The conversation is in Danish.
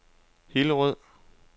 Hillerød